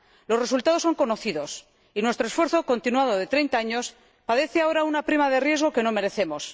Los resultados son conocidos y nuestro esfuerzo continuado de 30 años padece ahora una prima de riesgo que no merecemos.